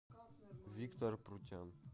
виктор прутян